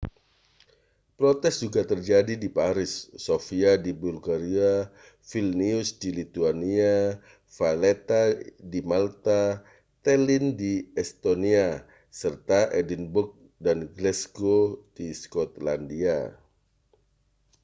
protes juga terjadi di paris sofia di bulgaria vilnius di lithuania valetta di malta tallinn di estonia serta edinburgh dan glasgow di skotlandia